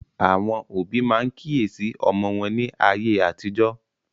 Àwọn òbí máa ń kíyèsí ọmọ wọn ní ayé àtijọ́